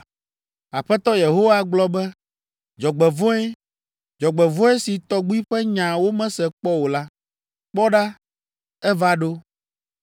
“Aƒetɔ Yehowa gblɔ be, “ ‘Dzɔgbevɔ̃e! Dzɔgbevɔ̃e si tɔgbi ƒe nya womese kpɔ o la! Kpɔ ɖa, eva ɖo.